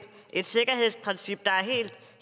et sikkerhedsprincip der helt